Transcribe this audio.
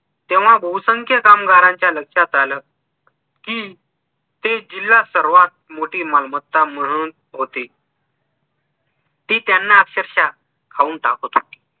तेव्हा बहुसंख्य कामगारांच्या लक्षात आलं कि ते जिला सर्वात मोठी मालमत्ता म्हणत होते ती त्यांना अक्षरशः खाऊन टाकत होती